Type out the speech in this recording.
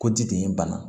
Ko ji de ye n bana